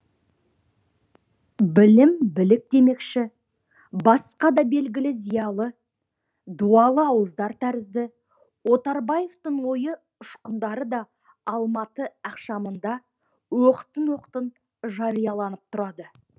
білім білік демекші басқа да белгілі зиялы дуалы ауыздар тәрізді отарбаевтың ойы ұшқындары да алматы ақшамында оқтын оқтын жарияланып тұрады